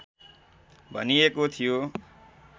भनिएको थियो